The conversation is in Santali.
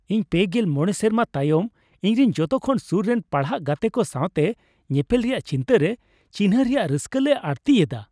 ᱤᱧ ᱓᱕ ᱥᱮᱨᱢᱟ ᱛᱟᱭᱚᱢ ᱤᱧᱨᱮᱱ ᱡᱚᱛᱚ ᱠᱷᱚᱱ ᱥᱩᱨ ᱨᱮᱱ ᱯᱟᱲᱦᱟᱜ ᱜᱟᱛᱮ ᱠᱚ ᱥᱟᱣᱛᱮ ᱧᱮᱯᱮᱞ ᱨᱮᱭᱟᱜ ᱪᱤᱱᱛᱮ ᱨᱮ ᱪᱤᱱᱦᱟᱹ ᱨᱮᱭᱟᱜ ᱨᱟᱹᱥᱠᱟᱹ ᱞᱮ ᱟᱹᱲᱛᱤᱭᱮᱫᱟ ᱾